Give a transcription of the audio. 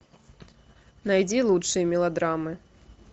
найди лучшие мелодрамы